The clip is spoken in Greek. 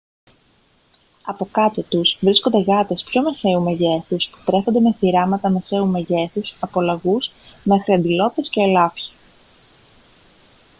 από κάτω τους βρίσκονται γάτες πιο μεσαίου μεγέθους που τρέφονται με θηράματα μεσαίου μεγέθους από λαγούς μέχρι αντιλόπες και ελάφια